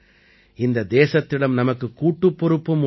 இந்த தேசத்திடம் நமக்குக் கூட்டுப் பொறுப்பும் உள்ளது